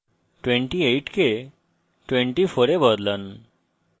28 কে 24 এ বদলান